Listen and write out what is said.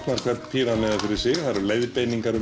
hvern píramída fyrir sig það eru leiðbeiningar